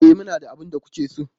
E, muna da abin da kuke so.